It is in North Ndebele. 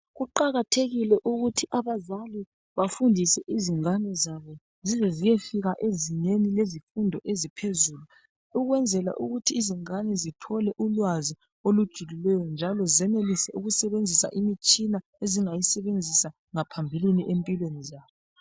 Kuqakathekile ukuthi abazali bafundise izingane zabo zizeziyefika ezingeni lezifundo eziphezulu ukwenzela ukuthi izingane zithole ulwazi olujulileyo njalo zenelise ukusebenzisa imitshina ezingayisebenzisa ngaphambilini empilweni zabo.